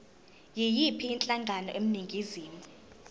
yiyiphi inhlangano eningizimu